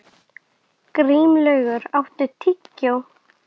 Grímlaugur, áttu tyggjó?